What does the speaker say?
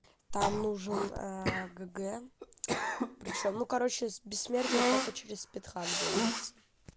там нужен гг причём ну короче с бессмертия только через спеедхак делается